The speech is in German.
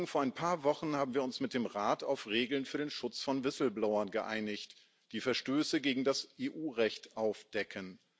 Vor ein paar Wochen haben wir uns mit dem Rat auf Regeln für den Schutz von Whistleblowern geeinigt, die Verstöße gegen das EU Recht aufdecken.